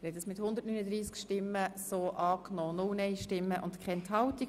Der Grosse Rat hat das Postulat einstimmig angenommen.